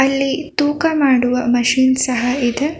ಅಲ್ಲಿ ತೂಕ ಮಾಡುವ ಮಶಿನ್ ಸಹ ಇದೆ.